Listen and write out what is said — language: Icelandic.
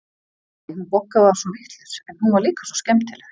Æ, hún Bogga var svo vitlaus, en hún var líka svo skemmtileg.